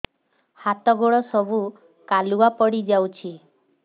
ହାତ ଗୋଡ ସବୁ କାଲୁଆ ପଡି ଯାଉଛି